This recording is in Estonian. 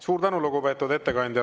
Suur tänu, lugupeetud ettekandja!